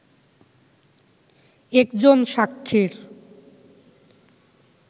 একজন সাক্ষীর